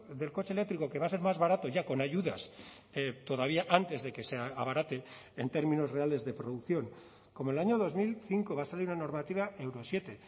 del coche eléctrico que va a ser más barato ya con ayudas todavía antes de que se abarate en términos reales de producción como el año dos mil cinco va a salir una normativa euro siete